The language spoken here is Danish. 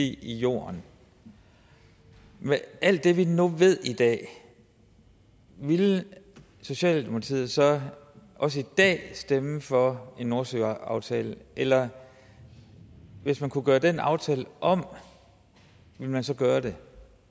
i jorden med alt det vi nu ved i dag ville socialdemokratiet så også i dag stemme for en nordsøaftale eller hvis man kunne gøre den aftale om ville man så gøre det